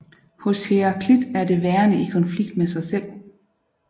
Hos Heraklit er det værende i konflikt med sig selv